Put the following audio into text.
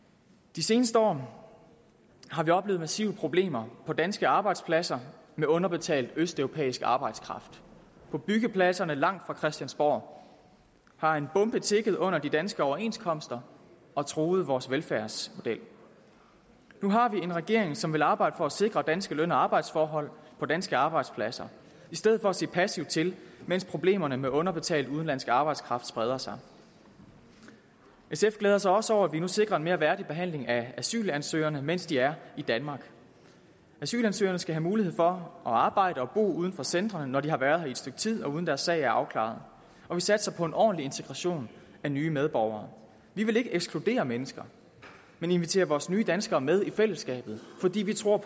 de seneste år har vi oplevet massive problemer på danske arbejdspladser med underbetalt østeuropæisk arbejdskraft på byggepladserne langt fra christiansborg har en bombe tikket under de danske overenskomster og truet vores velfærdsmodel nu har vi en regering som vil arbejde for at sikre danske løn og arbejdsforhold på danske arbejdspladser i stedet for at se passivt til mens problemerne med underbetalt udenlandsk arbejdskraft spreder sig sf glæder sig også over at vi nu sikrer en mere værdig behandling af asylansøgerne mens de er i danmark asylansøgerne skal have mulighed for at arbejde og bo uden for centrene når de har været her et stykke tid uden at deres sag er afklaret og vi satser på en ordentlig integration af nye medborgere vi vil ikke ekskludere mennesker men invitere vores nye danskere med i fællesskabet fordi vi tror